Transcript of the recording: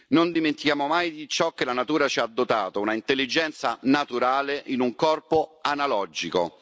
Non dimentichiamo mai ciò di cui la natura ci ha dotato, un'intelligenza naturale in un corpo analogico.